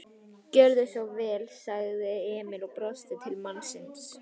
Gjörðu svo vel, sagði Emil og brosti til mannsins.